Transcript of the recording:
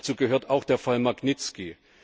Hierzu gehört auch der Fall Magnitski.